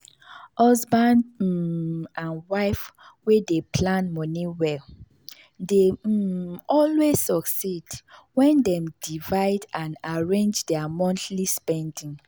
husband um and wife wey dey plan money well dey um always succeed when dem divide and arrange their monthly spending.